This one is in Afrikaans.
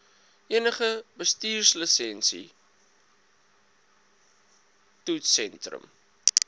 enige bestuurslisensie toetssentrum